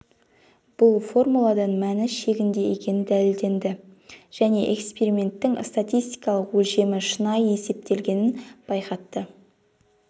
бұл формуладан мәні шегінде екені дәледенді және эксперименттің статистикалық өлшемі шынайы есептелгенін байқатты